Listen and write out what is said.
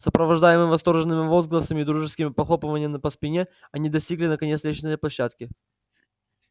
сопровождаемые восторжёнными возгласами и дружескими похлопываниями по спине они достигли наконец лестничной площадки